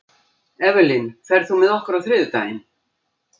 Evelyn, ferð þú með okkur á þriðjudaginn?